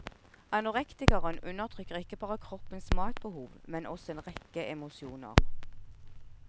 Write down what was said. Anorektikeren undertrykker ikke bare kroppens matbehov, men også en rekke emosjoner.